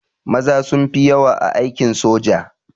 Maza suka fi yawa a aikin soja